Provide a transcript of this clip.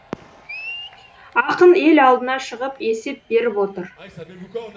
ақын ел алдына шығып есеп беріп отыр